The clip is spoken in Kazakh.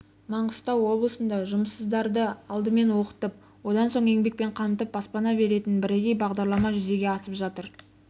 маңғыстау облысында жұмыссыздарды алдымен оқытып одан соң еңбекпен қамтып баспана беретін бірегей бағдарлама жүзеге асып жатыр